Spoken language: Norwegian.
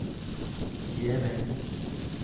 Gjeving